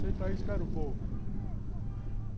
Senta aí, espera um pouco.